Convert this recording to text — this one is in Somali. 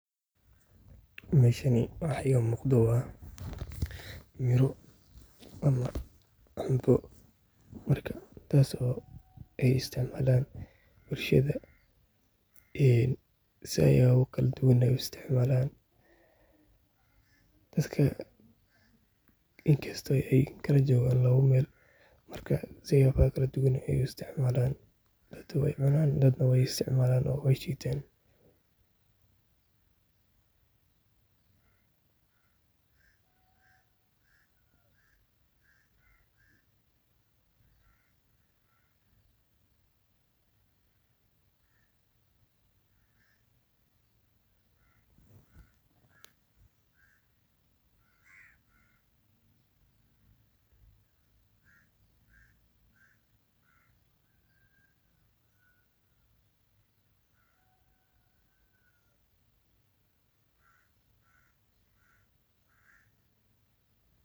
Meshaani waxa iga muqdo waa miro ama cambo marka kuwaas oo isticmaalan bulshada . Een siyabo kala tugan neh uu isticmaalan , dadka inkasto aay kala jogan lawo meel marka siyabo kala haa tugaan uu istcmalaan dad neh waa inadan dad way isticmaalan oo way jitaan.